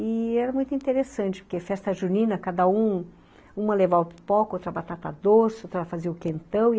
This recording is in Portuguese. E era muito interessante, porque festa junina, cada um... Uma levava a pipoca, outra a batata doce, outra fazia o quentão.